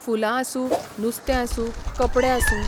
फुलां आसूं, नुस्तें आसूं, कपडे आसूं.